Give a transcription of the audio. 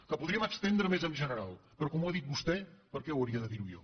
que podríem estendre més en general però com que ho ha dit vostè per què hauria de dir ho jo